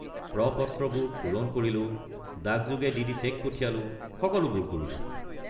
প্ৰ-পত্ৰবোৰ পূৰণ কৰিলোঁ, ডাকযোগে ডি.ডি. চেক পঠিয়ালোঁ, সকলোবোৰ কৰিলোঁ।